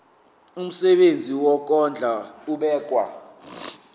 umsebenzi wokondla ubekwa